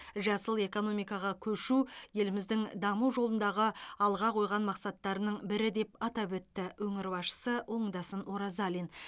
жасыл экономикаға көшу еліміздің даму жолындағы алға қойған мақсаттарының бірі деп атап өтті өңір басшысы оңдасын оразалин